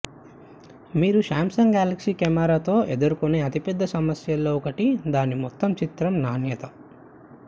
మీరు Samsung Galaxy కెమెరాతో ఎదుర్కొనే అతిపెద్ద సమస్యల్లో ఒకటి దాని మొత్తం చిత్రం నాణ్యత